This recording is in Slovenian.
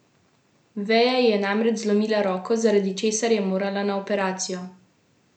Veja ji je namreč zlomila roko, zaradi česar je morala na operacijo.